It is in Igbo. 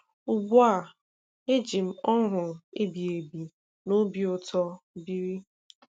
Ugbu a, eji m ọṅụ ebighebi na obi ụtọ biri.